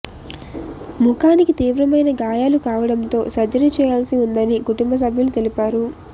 ముఖానికి తీవ్రమైన గాయాలు కావడంతో సర్జరీ చేయాల్సి ఉందని కుటుంబ సభ్యులు తెలిపారు